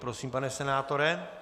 Prosím, pane senátore.